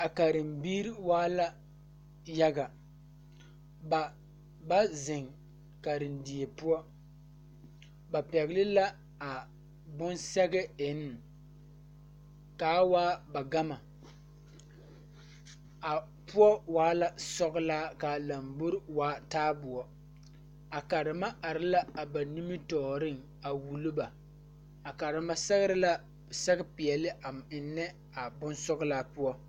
A karembiire waa la yaga ba ba zeŋ karendie poɔ ba pɛgle la a bon sɛge eŋne kaa waa ba gama a poɔ waa la sɔglaa kaa lambore waa taaboɔ a karema are la a ba nimitooreŋ a wullo ba a karema sɛgrɛ la sɛge peɛle a eŋnɛ a bonsɔglaa poɔ.